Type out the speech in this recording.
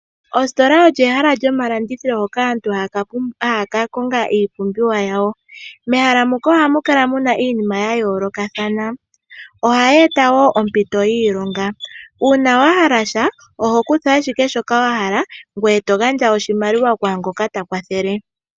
Oositola olyo ehala lyomalandithilo ngoka aantu haya ka konga iipumbiwa yawo. Mehala muka ohamu kala muna iinima ya yoolokathana ohaya eta woo ompito yiilonga, uuna wa hala sha oho kutha ashike shoka wa hala ngoye to gandja oshimaliwa kwaangoka ta kwathele.